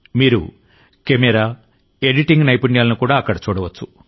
మీరు camera editing నైపుణ్యాలను కూడా అక్కడ చూడవచ్చు